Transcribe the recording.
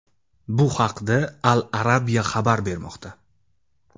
Bu haqda Al Arabia xabar bermoqda .